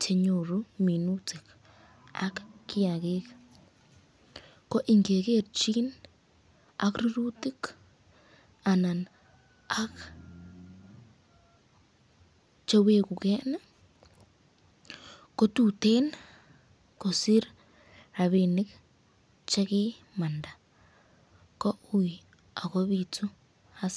chenyoru minutik ak kiakik, ko ingegerchin ak rurutik anan ak chewekeken kotuten kosir rapinik chekimanda ko ui akobitu hasara.